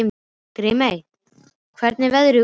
Grímey, hvernig er veðrið úti?